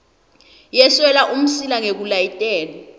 yeswela umsila ngekulayetela